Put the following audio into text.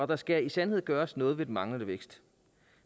der skal i sandhed gøres noget ved den manglende vækst